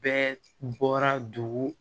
Bɛɛ bɔra dugu